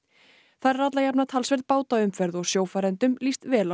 þar er alla jafna talsverð bátaumferð og sjófarendum líst vel á